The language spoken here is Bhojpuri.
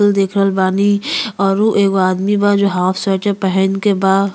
देख रहल बानी औरु आदमी बा जो हाफ स्वेटर पहन के बा।